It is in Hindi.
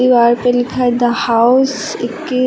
दीवार पे लिखा है द हाउस इक्कीस।